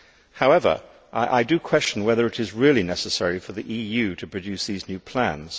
However, I question whether it is really necessary for the EU to produce these new plans.